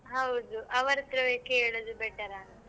ಹೌದು ಅವ್ರತ್ರವೇ ಕೇಳುದು better ಆ ಅಂತ.